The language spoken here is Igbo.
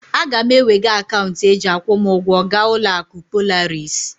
Aga m ewega akaunti e ji akwụ m ugwo ga uloaku Polaris